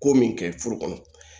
Ko min kɛ furu kɔnɔ